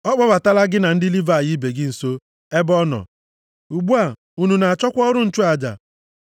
Ọ kpọbatala gị na ndị Livayị ibe gị nso ebe ọ nọ. Ugbu a, unu na-achọkwa ọrụ nchụaja?